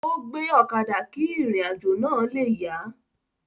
Ó gbe ọ̀kadà kí ìrìn àjò náà le yá a